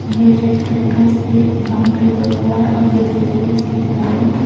ये red colour का इस पे बाउंड्री वर्क हुआ है और येलो कलर की इसकी दीवारे हैं।